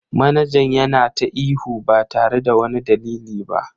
Manajan yana ta ihu ba tare da wani dalili ba.